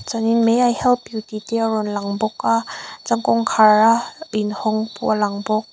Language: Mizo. chuanin may i help you tih te a rawn lang bawk a chuan kawngkhar a inhawng pawh a lang bawk.